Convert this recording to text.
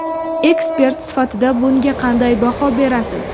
Ekspert sifatida bunga qanday baho berasiz?